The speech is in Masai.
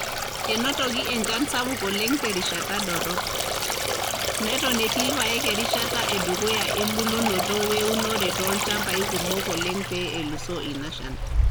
Enotoki enchan sapuk oleng te rishata dorrop, neton etii irpaek erishata e dukuya e imbulunoto o eunore too ilchambai kumok oleng pee elusoo ina shan.